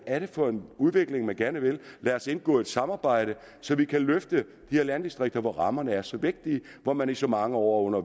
er for en udvikling man gerne vil lad os indgå et samarbejde så vi kan løfte de her landdistrikter hvor rammerne er så vigtige og hvor man i så mange år under